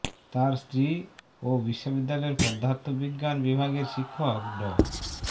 তার স্ত্রী ও বিশ্ববিদ্যালয়ের পদার্থ বিজ্ঞান বিভাগের শিক্ষক ড